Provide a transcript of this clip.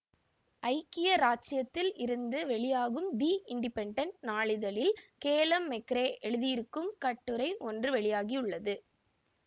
ஐக்கிய இராச்சியத்திலிருந்து வெளியாகும் தி இண்டிபென்டன்ட் நாளிதழில் கேலம் மெக்கரே எழுதியிருக்கும் கட்டுரை ஒன்று வெளியாகியுள்ளது